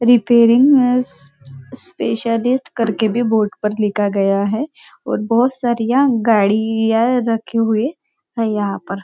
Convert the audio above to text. Repairing as specialist करके भी boat पर लिखा गया है और बहुत सारियाँ गाड़ियाँ रखे हुए है यहाँ पर।